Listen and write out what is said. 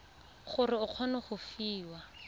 gore o kgone go fiwa